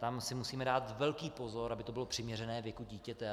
Tam si musíme dát velký pozor, aby to bylo přiměřené věku dítěte.